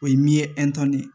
O ye min ye